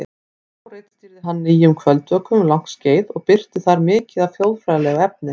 Þá ritstýrði hann Nýjum kvöldvökum um langt skeið og birti þar mikið af þjóðfræðilegu efni.